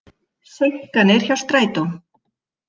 Seinkanir hjá strætó